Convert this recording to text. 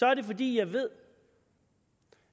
er det fordi jeg ved